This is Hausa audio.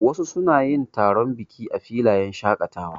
Wasu suna yin taron biki a filayen shaƙatawa.